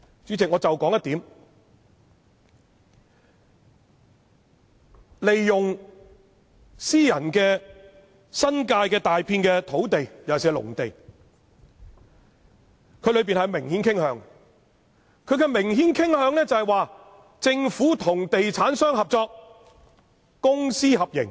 主席，我只說其中一點，關於利用新界大片私人土地，尤其是農地這方面，文件中的明顯傾向是政府與地產商合作，即公私合營。